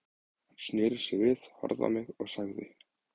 Hann sneri sér þá við, horfði á mig og sagði